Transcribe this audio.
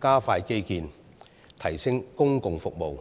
加快基建，提升公共服務。